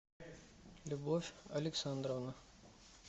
любовь александровна